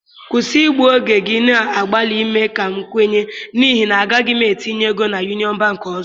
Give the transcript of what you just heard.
Kwụsị igbu oge gị na-agbalị ime ka m kwenye n'ihi na agaghị m etinye ego na Union Bank ọzọ